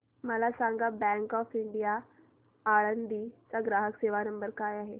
मला सांगा bank of India Alandi चा ग्राहक सेवा नंबर काय आहे